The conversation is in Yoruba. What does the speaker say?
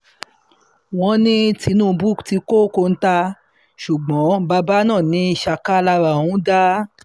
wọ́n ní tinúbù ti kọ́ kóńtà ṣùgbọ́n bàbá náà ní ṣáká lára òun dá